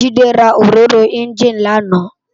Jide rá óróró ènjiní làná